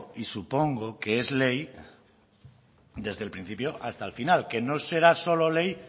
y supongo que es ley desde el principio hasta el final que no será solo ley